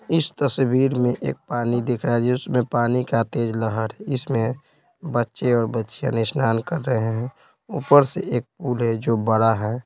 इस तस्वीर में एक पानी दिख रहा है उसमें पानी का तेज़ लहर इसमें बच्चे और बच्चियां ने स्नान कर रहे हैं ऊपर से एक पूल है जो बड़ा है।